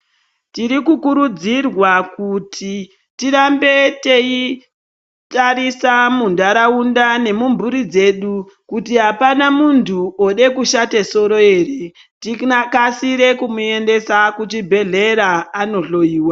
Tirikukuridzirwa kuti tirambe teitarisa muntaraunda nemumburi dzedu kuti apana muntu ode kushate soro ere tikasire kumuendesa kuchibhedhlera anohloiwa